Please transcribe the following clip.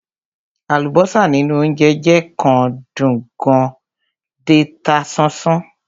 Àlùbọ́sà nínú óńjẹ jẹ́ kán dùn kán dẹ̀ ta sánsán.